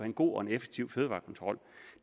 en god og en effektiv fødevarekontrol